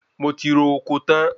Mo ti ro oko tán